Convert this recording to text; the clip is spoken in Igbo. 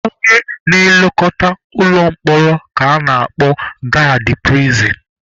Onye na-elekọta ụlọ mkpọrọ ka a na-akpọ gaadị pirisin.